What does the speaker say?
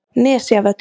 Nesjavöllum